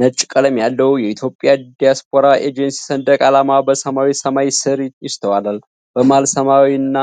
ነጭ ቀለም ያለው የኢትዮጵያ ዲያስፖራ ኤጀንሲ ሰንደቅ ዓላማ በሰማያዊ ሰማይ ስር ይውለበለባል። በመሃል ሰማያዊና